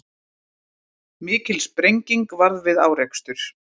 Mikil sprenging varð við árekstur